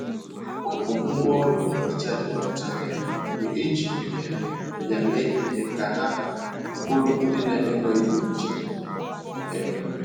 Wepu ngwaọrụ nhicha gị ọcha um mgbe ejiri um ya mee ihe ka ha bụrụ ndị na-enweghị nje. um